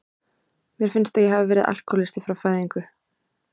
Mér finnst að ég hafi verið alkohólisti frá fæðingu.